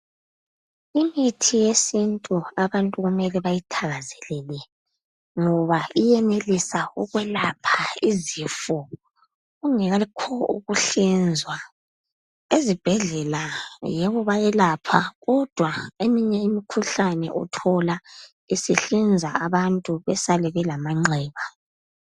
Imithi yesintu abantu kumele bayithakazelele ngoba iyenelisa ukwelapha izifo kungekho ukuhlinzwa. Ezibhedlela yebo bayelapha kodwa eminye imikhuhlane uthola sebehlinza abantu besale belamanxeba.